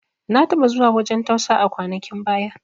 Na taɓa zuwa wajan tausa a kwanakin baya